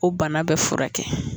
O bana bɛɛ furakɛ